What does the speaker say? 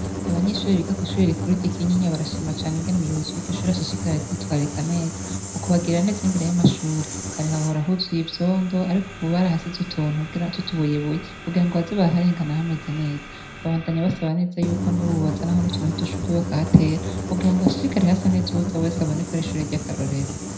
Abanyeshuri biga kw'ishure ry'i Kinyinya barashima cane ingene umuyobozi ashishikara aryitwararika neza mu kubagirira neza imbere y'amashure. Kare hahora huzuye ivyondo, ariko ubu barahashize utuntu tw'utubuyebuye kugira baze bararengana hameze neza. Babandanya basaba neza yuko n'ubu bozanaho n'utuntu tw'udushurwe bakahatera kugira hashishikare hasa neza, uwuza wese abone ko ari ishure ry'akarorero.